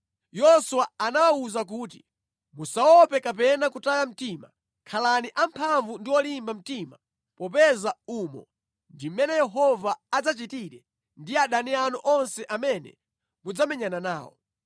Yoswa anawawuza kuti, “Musaope kapena kutaya mtima. Khalani amphamvu ndi olimba mtima popeza umo ndi mmene Yehova adzachitire ndi adani anu onse amene mudzamenyana nawo.”